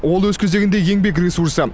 ол өз кезегінде еңбек ресурсы